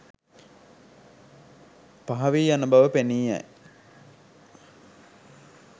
පහවී යන බව පෙනී යයි.